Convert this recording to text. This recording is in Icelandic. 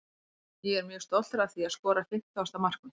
Ég er mjög stoltur að því að skora fimmtugasta mark mitt.